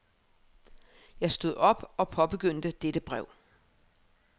Jeg stod op og påbegyndte dette brev.